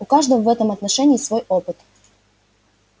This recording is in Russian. у каждого в этом отношении свой опыт